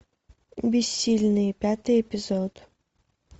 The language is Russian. бессильные пятый эпизод